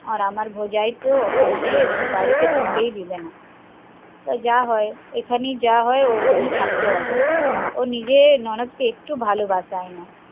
আর আমার ভজাই তো আমাকে বাড়িতে ঢুকতেই দেবে না, তবে যা হয় এখানে যা হয় ওরকমই থাকতে হবে, ও নিজের ননদ কে একটু ও ভালোবাসায় না